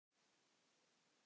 Í bréfi